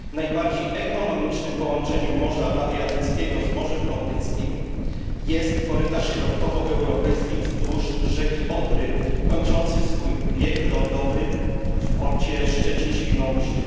Najbardziej ekonomicznym połączeniem Morza Adriatyckiego z Morzem Bałtyckim jest korytarz środkowoeuropejski wzdłuż rzeki Odry, kończący swój bieg lądowy w porcie Szczecin Świnoujście.